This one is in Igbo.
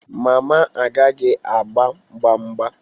Mama agaghị agba mgba mgba